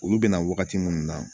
Olu bɛna wagati munnu na